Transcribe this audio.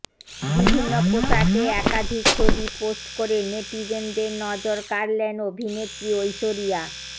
বিভিন্ন পোশাকে একাধিক ছবি পোস্ট করে নেটিজেনদের নজর কাড়লেন অভিনেত্রী ঐশ্বরিয়া